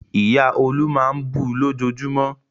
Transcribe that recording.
Ìyá Olú máa ń bu lójoojúmọ́.